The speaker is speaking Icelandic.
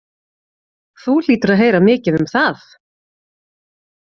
Þú hlýtur að heyra mikið um það?